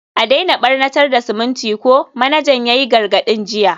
a daina barnatar da siminti ko, manajan ginin ya yi gargadin jiya.